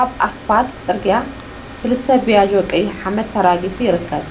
አብ እስፓል ፅርግያ ክልተ ቢያጆ ቀይሕ ሓመድ ተራጊፉ ይርከብ፡፡